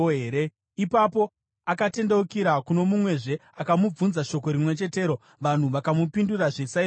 Ipapo akatendeukira kuno mumwezve akamubvunza shoko rimwe chetero, vanhu vakamupindurazve saizvozvo.